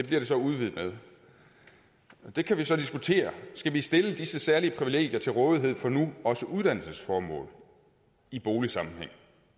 bliver det så udvidet med det kan vi så diskutere skal vi stille disse særlige privilegier til rådighed for nu også uddannelsesformål i boligsammenhæng